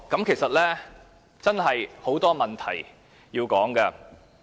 其實，真的有很多問題需要討論。